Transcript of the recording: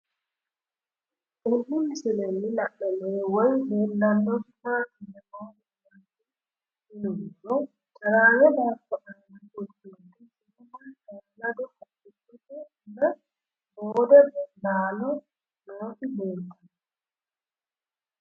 Tenne misilenni la'nanniri woy leellannori maattiya noori amadde yinummoro caraamme baatto aanna fulittinnotti shiimma shaalado haqichchotte naa boode laallo nootti leelittanno